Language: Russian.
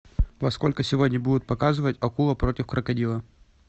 во сколько сегодня будут показывать акула против крокодила